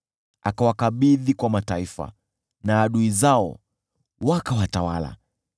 Akawakabidhi kwa mataifa na adui zao wakawatawala.